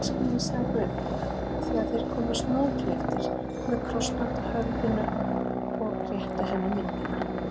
Elskurnar, sagði Guðfinna þegar þeir komu snoðklipptir með krossband á höfðinu og réttu henni myndina.